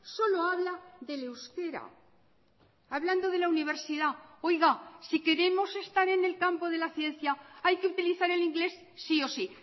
solo habla del euskera hablando de la universidad oiga si queremos estar en el campo de la ciencia hay que utilizar el inglés sí o sí